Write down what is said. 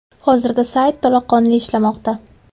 Hozirda sayt to‘laqonli ishlamoqda.